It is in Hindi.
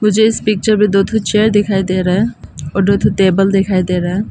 मुझे इस पिक्चर में दो ठो चेयर दिखाई दे रहा है दो ठो टेबल दिखाई दे रहा--